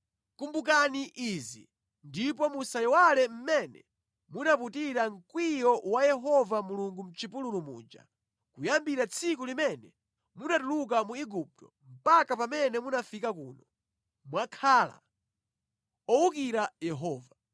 Kumbukirani izi ndipo musayiwale mmene munaputira mkwiyo wa Yehova Mulungu mʼchipululu muja. Kuyambira tsiku limene munatuluka mu Igupto mpaka pamene munafika kuno, mwakhala owukira Yehova.